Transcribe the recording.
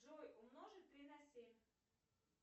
джой умножить три на семь